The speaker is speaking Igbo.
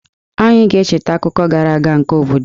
Anyị ga-echeta akụkọ gara aga nke obodo a.